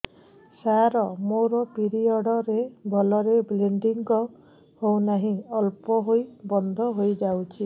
ସାର ମୋର ପିରିଅଡ଼ ରେ ଭଲରେ ବ୍ଲିଡ଼ିଙ୍ଗ ହଉନାହିଁ ଅଳ୍ପ ହୋଇ ବନ୍ଦ ହୋଇଯାଉଛି